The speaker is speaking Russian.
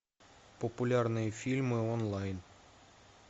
популярные фильмы онлайн